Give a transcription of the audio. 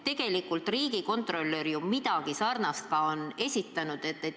Tegelikult on riigikontrolör ju ka midagi sarnast pakkunud.